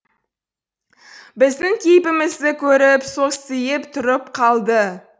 біздің кейпімізді көріп состиып тұрып қалды